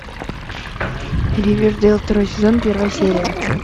ривердэйл второй сезон первая серия